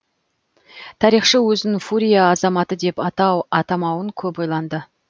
тарихшы өзін фурия азаматы деп атау атамауын көп ойланды